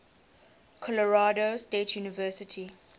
colorado state university